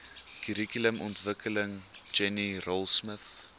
kurrikulumontwikkeling jenny raultsmith